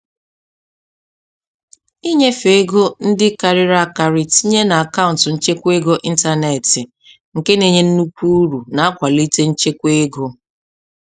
Ịnyefe ego ndị karịrị akarị tinye n'akaụntụ nchekwa ego ịntanetị nke na-enye nnukwu uru na-akwalite nchekwa ego.